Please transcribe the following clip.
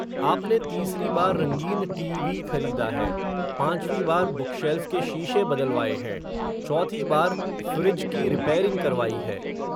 आपने तीसरी बार रंगीन टी वी खरीदा है, पांचवी बार बुकशेल्फ़ के शीशे बदलवाये हैं, चौथी बार, फ़्रिज की रिपेयरिंग करवाई है